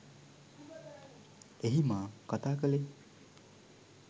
එහි මා කතා කලේ